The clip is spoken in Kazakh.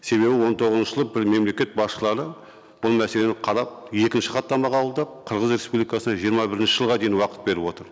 себебі он тоғызыншы жылы мемлекет басшылары бұл мәселені қарап екінші хаттамаға алды қырғыз республикасына жиырма бірінші жылға дейін уақыт беріп отыр